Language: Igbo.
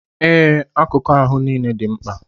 Ee, akuku ahụ nile di nkpa